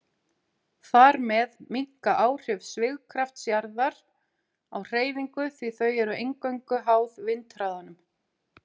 Þar með minnka áhrif svigkrafts jarðar á hreyfinguna því þau eru eingöngu háð vindhraðanum.